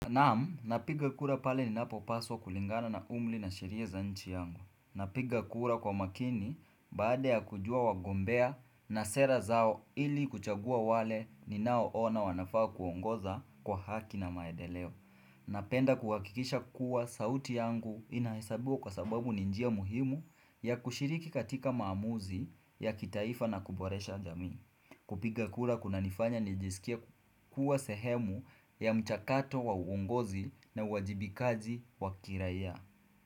Naam, napiga kura pale ninapopaswa kulingana na umri na sheria za nchi yangu. Napiga kura kwa makini baada ya kujua wagombea na sera zao ili kuchagua wale ninao ona wanafaa kuongoza kwa haki na maendeleo. Napenda kuhakikisha kuwa sauti yangu inahesabiwa kwa sababu ni njia muhimu ya kushiriki katika maamuzi ya kitaifa na kuboresha jamii. Kupiga kura kunanifanya nijisikie kuwa sehemu ya mchakato wa uongozi na uajibikaji wa kiraia.